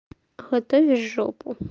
готовь жопу